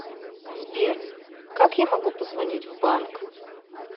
сбер как я могу позвонить в банк